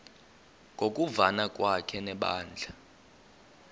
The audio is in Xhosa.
ngokuvana kwakhe nebandla